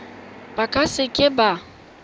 ba ka se ka ba